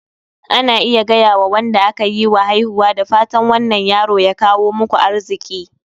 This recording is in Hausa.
Ana iya gayawa Wanda aka yiwa haihuwa "da fatan wannan yaro ya kawo muku arziki